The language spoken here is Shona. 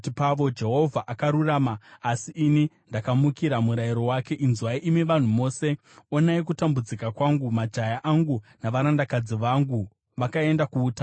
“Jehovha akarurama, asi ini ndakamukira murayiro wake. Inzwai, imi vanhu mose; onai kutambudzika kwangu. Majaya angu navarandakadzi vangu vakaenda kuutapwa.